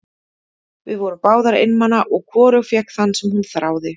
Við vorum báðar einmana og hvorug fékk þann sem hún þráði.